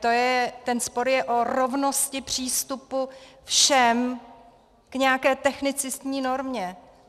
Ten spor je o rovnosti přístupu všem k nějaké technicistní normě.